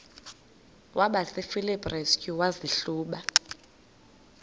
kwabasefilipi restu wazihluba